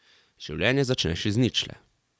Življenje začneš z ničle.